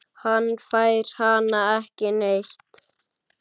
Hann fær hana ekki neitt!